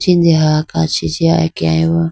jindeha kachi jiya akeyayi bo.